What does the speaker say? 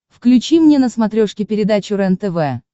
включи мне на смотрешке передачу рентв